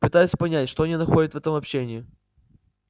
пытаюсь понять что они находят в этом общении